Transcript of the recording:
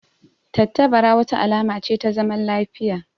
Tattabara wata alama ce ta zaman lafiya